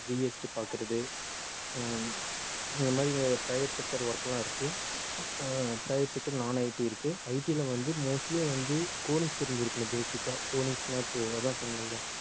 GST பார்க்கிறது அஹ் இந்த மாதிரி private sector work எல்லாம் இருக்கு அஹ் private sector, nonIT இருக்கு IT ல வந்து mostly வந்து codings தெரிஞ்சிருக்கணும் basic ஆ codings ன்னா இப்ப அதான் சொன்னேன்ல